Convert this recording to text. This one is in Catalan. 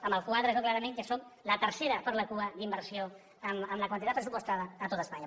en el quadre es veu clarament que som la tercera per la cua en inversió en la quantitat pressupostada a tot espanya